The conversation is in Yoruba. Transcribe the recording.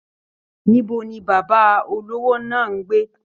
Níbo ní bàbá olówó náà n gbé?